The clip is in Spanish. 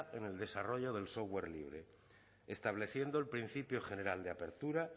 en el desarrollo del software libre estableciendo el principio general de apertura